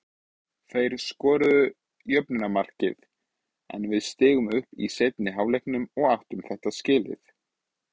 Þeir skoruðu jöfnunarmarkið en við stigum upp í seinni hálfleiknum og áttu þetta skilið.